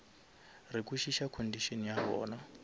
re kwešiša condition ya bona